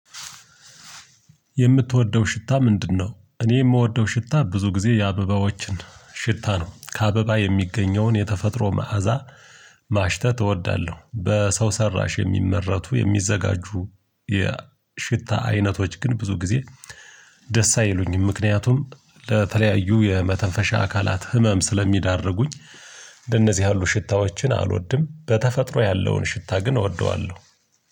የምትወደው ሽታ ምንድነው? እኔ የምወደው ሽታ ብዙ ጊዜ የአበባዎችን ሽታ ነው ከአበባ የሚገኘውን የተፈጥሮ መዓዛ ማሽተት እወዳለሁ። በሰው ሰራሽ የሚመረቱ የሚዘጋጁ የሽታ አይነቶች ግን ብዙ ጊዜ ደስ አይሉኝም። ምክንያቱም ለተለያዩ የመተንፈሻ አካላት ህመም ስለሚዳርጉኝ። ለነዚህ ያሉ ሽታዎችን አልወድም በተፈጥሮ ያለውን ሽታ ግን እወደዋለሁ።